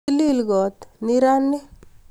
Tilil koot nirani